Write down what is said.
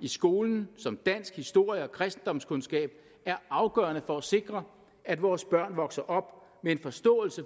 i skolen som dansk historie og kristendomskundskab er afgørende for at sikre at vores børn vokser op med en forståelse